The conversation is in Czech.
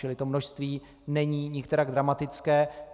Čili to množství není nikterak dramatické.